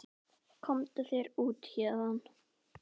Komdu þér út héðan!